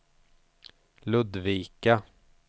Ludvika